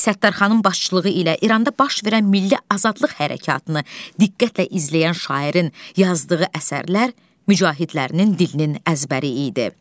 Səttarxanın başçılığı ilə İranda baş verən milli azadlıq hərəkatını diqqətlə izləyən şairin yazdığı əsərlər mücahidlərin dilinin əzbəri idi.